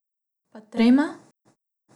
Pa trema?